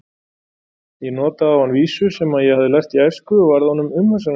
Ég notaði á hann vísu sem ég hafði lært í æsku og varð honum umhugsunarefni.